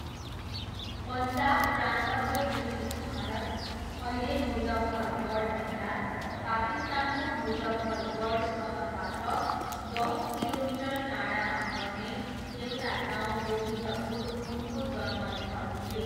पन्जाब प्रान्तको ब्रिटिस भारत, अहिले मुजफ्फरगढ जिल्ला, पाकिस्तानको मुजफ्फरगढ सहरबाट दस किलोमिटर टाडामा पर्ने एउटा गाउँ गोविन्दपुर उनको जन्मस्थल थियो।